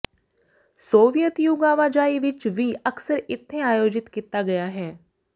Soviet ਯੁੱਗ ਆਵਾਜਾਈ ਵਿਚ ਵੀ ਅਕਸਰ ਇਥੇ ਆਯੋਜਿਤ ਕੀਤਾ ਗਿਆ ਹੈ